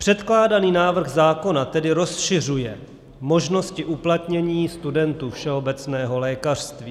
Předkládaný návrh zákona tedy rozšiřuje možnosti uplatnění studentů všeobecného lékařství.